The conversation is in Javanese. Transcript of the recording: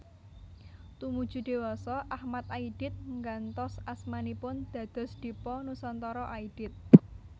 Tumuju dewasa Achmad Aidit nggantos asmanipun dados Dipa Nusantara Aidit